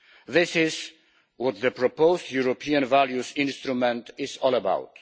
This is what the proposed European values instrument is all about.